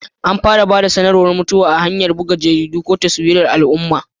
An fara ba da sanarwar mutuwa ta hanyar bugu a jaridu ko taswirar al'umma.